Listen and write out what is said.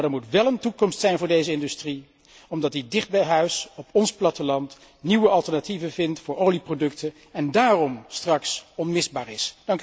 Maar er moet wel een toekomst zijn voor deze industrie omdat die dicht bij huis op ons platteland, nieuwe alternatieven vindt voor olieproducten en daarom straks onmisbaar is.